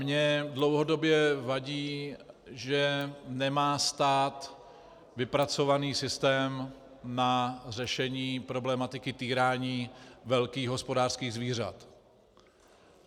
Mně dlouhodobě vadí, že nemá stát vypracovaný systém na řešení problematiky týrání velkých hospodářských zvířat.